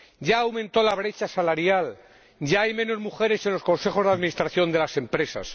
ya aumentó la brecha salarial, ya hay menos mujeres en los consejos de administración de las empresas.